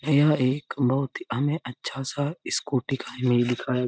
यह एक बहुत ही हमें अच्छा सा स्कूटी का इमेज दिखाया --